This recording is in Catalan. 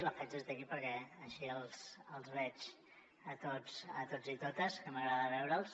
la faig des d’aquí perquè així els veig a tots i totes que m’agrada veure’ls